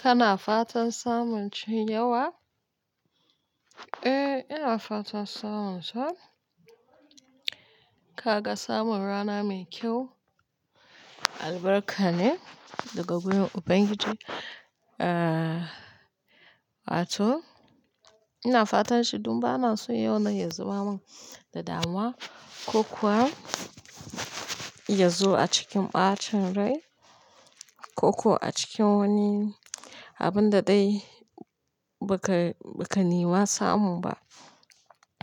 Kana fatan samun cinye wa? Eh, ina fatan samun sa. Kaga samun rana mai kyau albarka ne daga wurin Ubangiji. Wato ina fatan shi don ba na son yau na ya zama mun da damuwa ko kuwa ya zo a cikin ɓacin rai ko kuwa a cikin wani abun da dai ba ka, ba ka nima samu ba.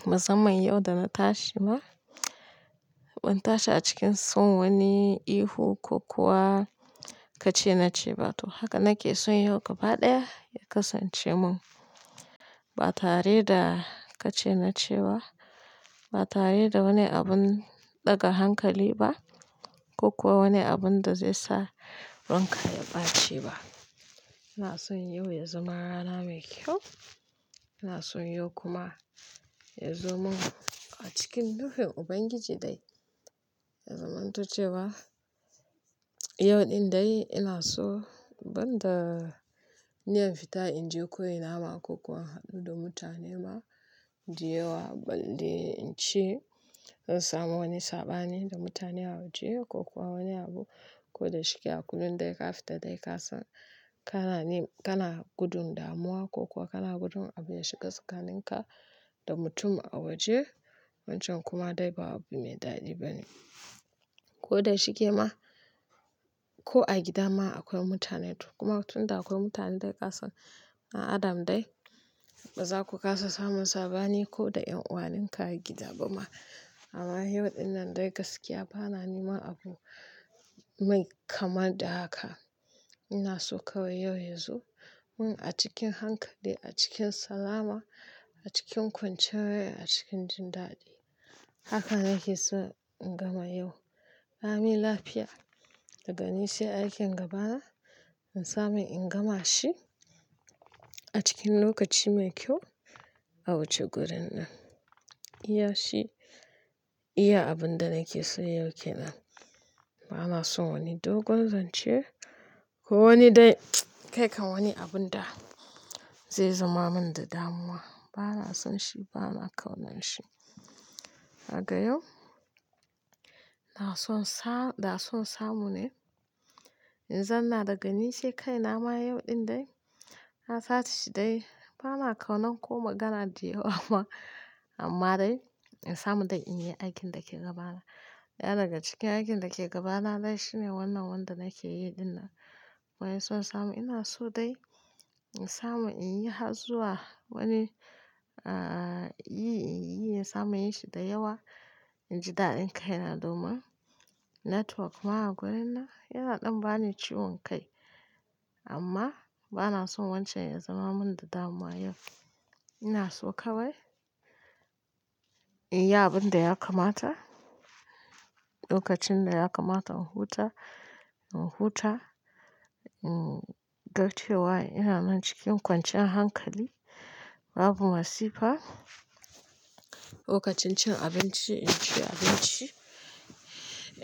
Musamman yau da na tashi ma, ban tashi a cikin son wani ihu ko kuwa ka ce na ce ba to haka nake son yau gaba ɗaya ya kasance mun. Ba tare da ka ce na ce ba, ba tare da wani abun ɗaga hankali ba ko kuwa wani abun da zai sa ranka ya ɓaci ba. Ina son yau ya zama rana mai kyau. Ina son yau kuma ya zo mun a cikin nufin Ubangiji dai. Ya zaman to cewa yau ɗin dai ina so banda niyan fita in je ko ina ma ko kuwa in haddu da mutane ma, da yawa balle in ci zan samu wani saɓani da mutane a waje ko kuwa wani abu ko da shike a kullum dai ka fita dai ka san kana ni, kana gudun damuwa ko kuwa kana gudun abin ya shiga sikanin ka da mutum a waje. Wancan kuma dai ba abu mai daɗi bane. Ko da shike ma ko a gida ma akwai mutane to kuma tun da akwai mutane dai ka san dan adam dai ba za ku kasa samun saɓani ko da ƴan uwanin ka a gida ba ma. Amma yau ɗin nan dai gaskiya ba na neman abu mai kamar da haka. Ina so kawai yau yazo mun a cikin hankali, a cikin salama, a cikin kwanciyar rai, a cikin jin daɗi. Haka nake so in gama yau. La mi lafiya daga ni sai a aikin gaba na in samu in gama shi a cikin lokaci mai kyau a wuce gurin nan. Iya shi, iya abun da nake so yau ke nan. Ba na son wani dogon zance ko wani dai, kai kan wani abun da zai zama mun da damuwa. Ba na son shi, ba na kaunan shi. Haka yau, ina son sa, da son samu ne in zauna daga ni sai kaina ma yau ɗin dai. Na tashi dai ba na kaunan ko magana da yawa ba. Amma dai in samu dai in yi aikin da ke gabana. Daya daga cikin aikin da ke gabana dai shine wannan wanda nake yi ɗin nan. Baya ina son samu ina so dai in samu in yi har zuwa wani, yi in yi in samu in yi shi da yawa. In ji daɗin kai na domin network ma a gurin nan yana ɗan bani ciwon kai amma ba na son wancan ya zama mun da damuwa yau. Ina so kawai in yi abun da ya kamata, lokacin da ya kamata in huta, in huta, in ga cewa ina nan cikin kwanciyar hankali babu masifa. Lokacin cin abinci in ci abinci,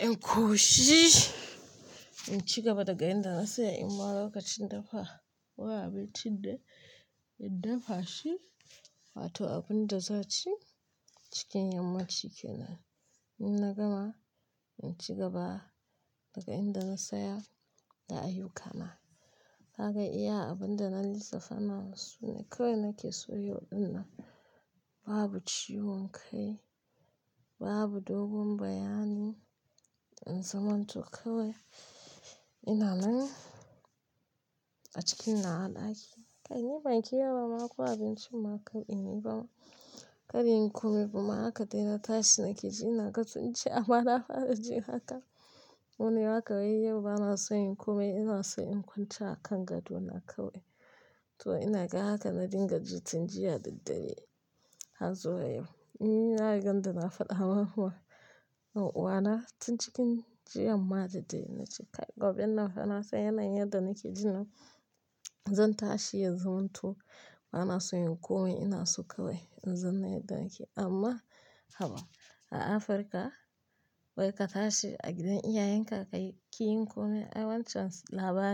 in ƙoshi, in ci gaba daga inda na tsaya in ma lokacin dafa wani abincin da in dafa shi. Wato abun da za aci cikin yammaci kenan. In na gama in ci gaba daga inda na tsaya da ayyuka na. Kaga iya abun da na lissafa nan sune kawai nake so yau ɗin nan. Babu ciwon kai, babu dogon bayani in zamanto kawai ina nan a cikin nawa ɗaƙi. Kai ni ban ki yau ba ma akwai abincin ma kar in yi ba ma. Kada inyi kome amma haka dai na tashi nake ji ina ga sunci amma na fara jin haka. Waini haka wai yau ba na son inyi kome ina so in kwanta a kan gado na kawai. To ina ga haka na dinga ji tun jiya daddare harzuwa yau. Na rigan da na faɗa ma yan uwwa na tun cikin jiyan ma da dare na ce kai gobe nan fa na son yanayin yanda nake jin nan zan tashi ya zama to ba na son yin kome ina so kawai in zauna a daki. Amma haba a Afirka wai ka tashi a gidan iyayenka ka ki yi kome ai wancan labari.